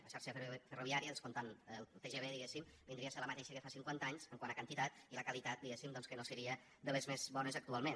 la xarxa ferroviària descomptant el tgv diguéssim vindria a ser la mateixa que fa cinquanta anys quant a quantitat i la qualitat diguéssim doncs que no seria de les més bones actualment